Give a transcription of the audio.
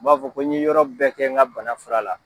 U b'a fɔ ko n' ɲe yɔrɔ bɛɛ kɛ n ka bana furura la.